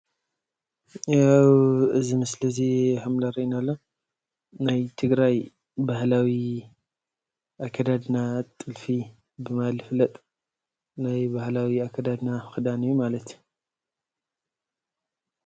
ያው እዚ ምስሊ እዚ ከም ዘርእየና ዘሎ ናይ ትግራይ ባህለዊ ኣከዳድና ጥልፊ ብምባል ዝፍለጥ ናይ ባህላዊ ኣከዳድና ክዳን እዩ ማለት እዩ፡፡